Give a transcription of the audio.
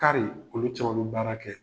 Kari nin, olu caman be baara kɛ